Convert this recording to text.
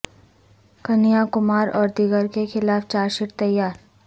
کنہیا کمار اور دیگر کے خلاف چارج شیٹ تیار